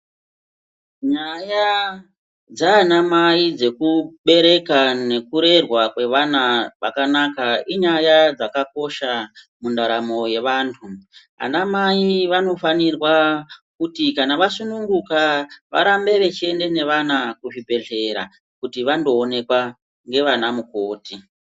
Nyaya dzaanamai dzekubereka nekurerwa kwevana kwakanaka inyaya dzakakosha, mundaramo yevantu. Anamai vanofanirwa kuti kana vasununguka, varambe vechiende nevana kuzvibhedhlera kuti vandoonekwa nevanamukoti.